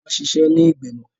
Wọn ṣiṣẹ ni igbimọ.